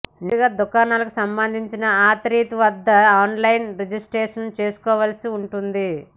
నేరుగా దుకాణాలకు సంబంధించిన అథారిటీ వద్ద ఆన్లైన్లో రిజిస్ట్రేషన్ చేసుకోవాల్సి ఉంటుంది